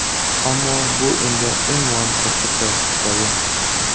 Ammo bu endi umuman boshqa hikoya.